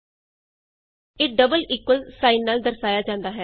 ਇਹ double equal double equal sign ਨਾਲ ਦਰਸਾਇਆ ਜਾਂਦਾ ਹੈ